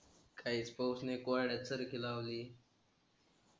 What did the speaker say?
काहीक पौषणीक वाड्यात शरकी लावली.